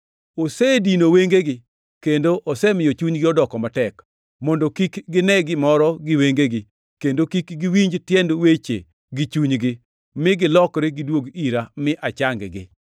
“Osedino wengegi kendo osemiyo chunygi odoko matek, mondo kik gine gimoro gi wengegi, kendo kik giwinj tiend weche gi chunygi, mi gilokre gidwog ira mi achang-gi.” + 12:40 \+xt Isa 6:10\+xt*